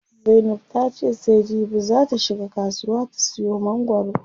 Zainab ta ce sai jibi zaa ta shiga kasuwa ta siyo mangwaro.